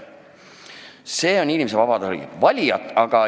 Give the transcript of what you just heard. See on inimese vaba voli.